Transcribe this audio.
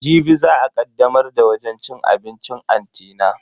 Jibi za a kaddamar da wajen cin abincin anti na.